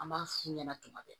An b'a f'u ɲɛna tuma bɛɛ